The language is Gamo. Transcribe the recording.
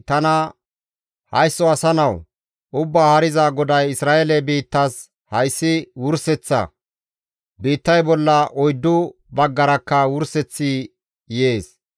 tana «Haysso asa nawu! Ubbaa Haariza GODAY Isra7eele biittas, ‹Hayssi Wurseththa! Biittay bolla oyddu baggarakka wurseththi yees.